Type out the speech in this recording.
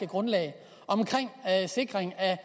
grundlag om en sikring af